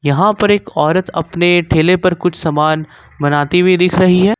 यहां पर एक औरत अपने ठेले पर कुछ सामान बनाती हुई दिख रही है।